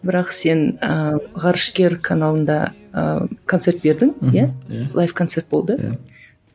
бірақ сен ы ғарышкер каналында ы концерт бердің иә мхм лайф концерт болды иә